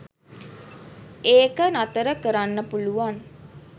ඒක නතර කරන්න පුලුවන්